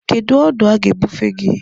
Kedu ọdụ a ga-ebufe gị?